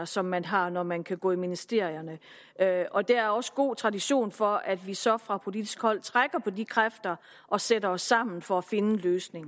som man har når man kan gå i ministerierne der er også god tradition for at vi så fra politisk hold trækker på de kræfter og sætter os sammen for at finde en løsning